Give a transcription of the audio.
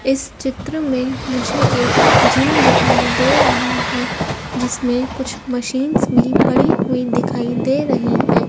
इस चित्र में मुझे एक जिम दिखाई दे रहा है जिसमें कुछ मशीनस भी पड़ी हुई दिखाई दे रही हैं।